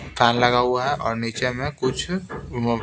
fan लगा हुआ है और नीचे में कुछ --